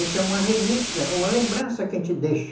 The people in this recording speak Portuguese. Isso é uma relíquia, uma lembrança que a gente deixa.